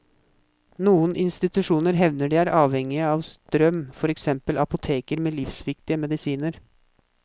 Noen institusjoner hevder de er avhengige av strøm, for eksempel apoteker med livsviktige medisiner.